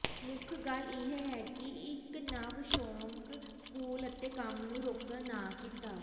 ਮੁੱਖ ਗੱਲ ਇਹ ਹੈ ਕਿ ਇੱਕ ਨਵ ਸ਼ੌਕ ਸਕੂਲ ਅਤੇ ਕੰਮ ਨੂੰ ਰੋਕਣ ਨਾ ਕੀਤਾ